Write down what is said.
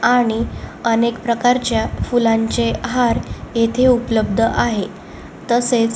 आणि अनेक प्रकारच्या फुलांचे हार इथे उपलब्ध आहे तसेच--